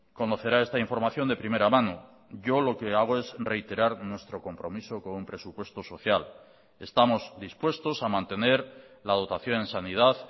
conocerá esta información de primera mano yo lo que hago es reiterar nuestro compromiso con un presupuesto social estamos dispuestos a mantener la dotación en sanidad